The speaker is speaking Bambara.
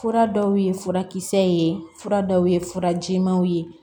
Fura dɔw ye furakisɛ ye fura dɔw ye furajimanw ye